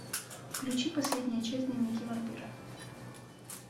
включи последнюю часть дневники вампира